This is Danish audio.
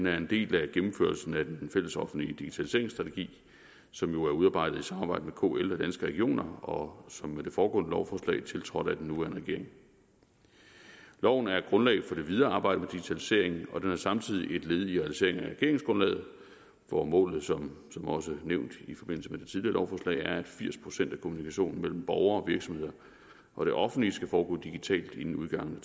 er en del af gennemførelsen af den fællesoffentlige digitaliseringsstrategi som jo er udarbejdet i samarbejde med kl og regioner og som ved det foregående lovforslag tiltrådt af den nuværende regering loven er et grundlag for det videre arbejde med digitaliseringen og den er samtidig et led i realiseringen af regeringsgrundlaget hvor målet som også nævnt i forbindelse med lovforslag er at firs procent af kommunikationen mellem borgere og virksomheder og det offentlige skal foregå digitalt inden udgangen af